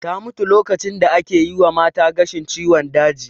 Ta mutu lokacin da ake yi mata gashin ciwon daji